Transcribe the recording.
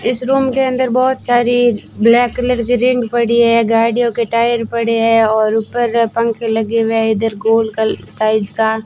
इस रूम के अंदर बहोत सारी ब्लैक कलर की रिंग पड़ी है गाड़ियों के टायर पड़े हैं और ऊपर पंख लगे हुए हैं इधर गोल साइज का --